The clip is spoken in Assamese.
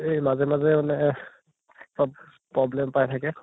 এই মাজে মাজে মানে problem পাই থাকে